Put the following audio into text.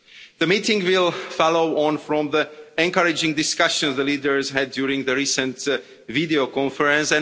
The meeting will follow on from the encouraging discussions the leaders had during the recent video conference.